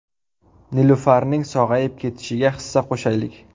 Nilufarning sog‘ayib ketishiga hissa qo‘shaylik!